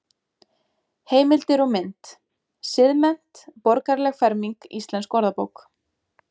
Heimildir og mynd: Siðmennt- borgaraleg ferming Íslensk orðabók.